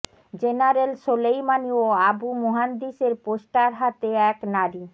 general Soleimani ও Abu মুহান্দিসের poster হাতে এক নারী